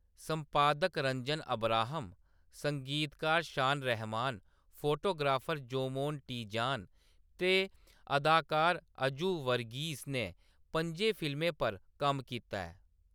संपादक रंजन अब्राहम, संगीतकार शान रहमान, फोटोग्राफर जोमोन टी.जान ते अदाकार अजू वर्गीस ने पं'जें फिल्में पर कम्म कीता ऐ।